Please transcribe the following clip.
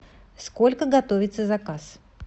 сколько готовится заказ